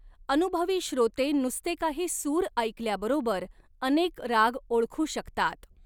अनुभवी श्रोते नुसते काही सूर ऐकल्याबरोबर अनेक राग ओळखू शकतात.